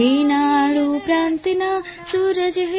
રેનાડું પ્રાંતના સૂરજ